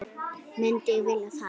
Myndi ég vilja fara?